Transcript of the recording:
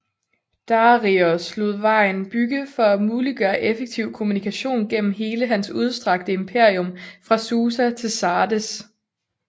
Dareios lod vejen bygge for at muliggøre effektiv kommunikation gennem hele hans udstrakte imperium fra Susa til Sardes